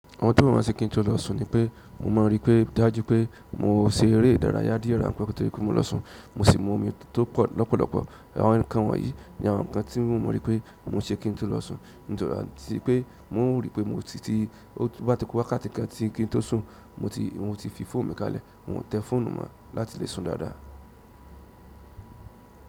Àwọn tó mọ̀ ọ́n ṣe kí n tó lọ sùn ni pé mo mọ̀ wípé dájú pé mo se eré ìdárayá díẹ̀ rán pé ó tó kí mo lọ sùn. Mo si mu omi tó pọ̀ lọ́pọ̀lọ́pọ̀. Àwọn nǹkan wọ̀nyí ní àwọn nǹkan tí mo mọ̀ wípé mo ṣe kí n tó lọ sùn. Nítorí àtí pé mo rí pé mo ti ti wá ti kó wá ká ti ń kí n tó sùn mo ti mo ti fi fóònù mi kalẹ̀. N ò tẹ fóònù mo láti lè sùn dáadáa.